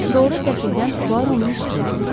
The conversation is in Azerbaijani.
Sonra qəfildən Puaronun üstünə cumdu.